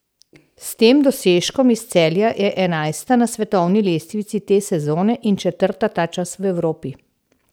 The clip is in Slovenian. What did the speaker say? S tem dosežkom iz Celja je enajsta na svetovni lestvici te sezone in četrta ta čas v Evropi.